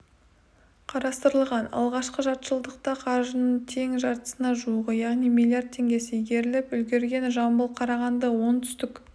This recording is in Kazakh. қарастырылған алғашқы жартыжылдықта қаржының тең жартысына жуығы яғни миллиард теңгесі игеріліп үлгерген жамбыл қарағанды оңтүстік